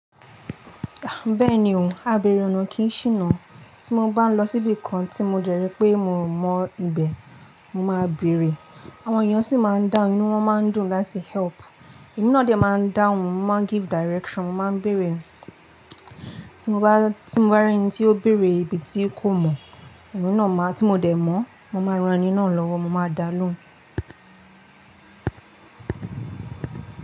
Bẹ́ẹ̀ni o, abèèrè ọ̀nà kì í ṣìnà. Tí mo bá ń lọ síbìkan tí mo dẹ̀ ríi pé mi ò mọ ibẹ̀, mo máa bèèrè. Àwọn èèyàn sì máa ń dáhùn, inú wọ́n máa ń dùn láti help. Èmí náà dẹ̀ máa ń dáhùn, mo máa ń give direction, mo máa ń bèèrè. Tí mo bá, tí mo bá rí ẹni tí ó béèrè ibi tí kò mọ̀, èmí náà máa-- tí mo dẹ̀ mọ̀-ọ́n, mo máa ran ẹni náà lọ́wọ́, mo máa da lóhùn.